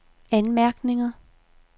anmærkninger